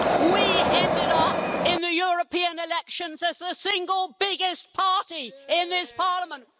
We ended up in the European elections as the single biggest party in this Parliament.